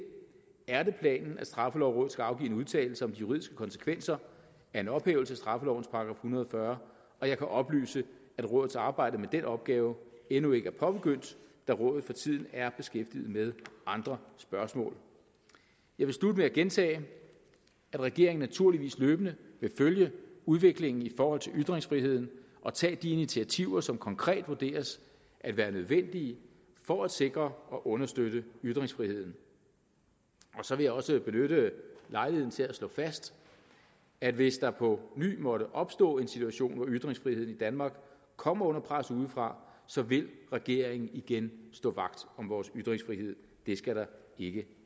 er det planen at straffelovrådet skal afgive en udtalelse om de juridiske konsekvenser af en ophævelse af straffelovens § en hundrede og fyrre og jeg kan oplyse at rådets arbejde med den opgave endnu ikke er påbegyndt da rådet for tiden er beskæftiget med andre spørgsmål jeg vil slutte med at gentage at regeringen naturligvis løbende vil følge udviklingen i forhold til ytringsfriheden og tage de initiativer som konkret vurderes at være nødvendige for at sikre og understøtte ytringsfriheden og så vil jeg også benytte lejligheden til at slå fast at hvis der på ny måtte opstå en situation hvor ytringsfriheden i danmark kommer under pres udefra så vil regeringen igen stå vagt om vores ytringsfrihed det skal der ikke